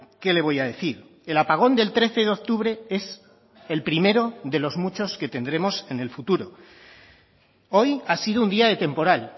qué le voy a decir el apagón del trece de octubre es el primero de los muchos que tendremos en el futuro hoy ha sido un día de temporal